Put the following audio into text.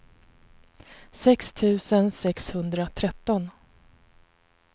sex tusen sexhundratretton